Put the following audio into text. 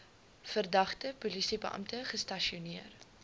verdagte polisiebeampte gestasioneer